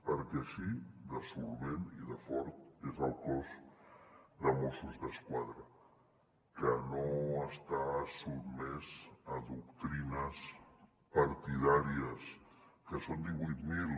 perquè així de solvent i de fort és el cos de mossos d’esquadra que no està sotmès a doctrines partidàries que en són divuit mil